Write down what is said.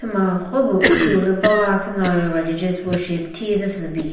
ma kropüh uthipüh lü bava sino worship thizü sü bi.